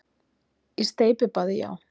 Í steypibaði, já.